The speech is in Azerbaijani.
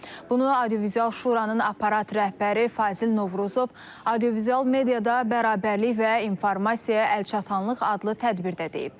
Bunu audiovizual Şuranın aparat rəhbəri Fazil Novruzov audiovizual mediada bərabərlik və informasiya əlçatanlıq adlı tədbirdə deyib.